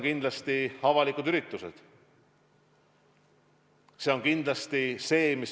Kindlasti jäävad piiratuks avalikud üritused.